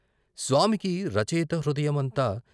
స్వామికి రచయిత హృదయం అంతా